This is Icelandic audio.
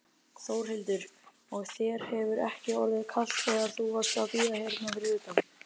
Þórhildur: Og þér hefur ekki orðið kalt þegar þú varst að bíða hérna fyrir utan?